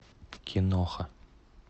киноха